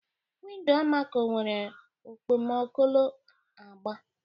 Window Almaco nwere okpokolo agba